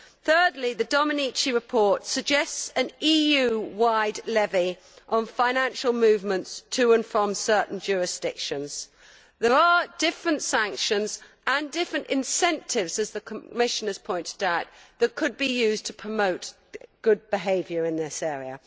Thirdly, the Domenici report suggests an EU wide levy on financial movements to and from certain jurisdictions. There are different sanctions and different incentives, as the Commissioner has pointed out, that could be used to promote good behaviour in this area.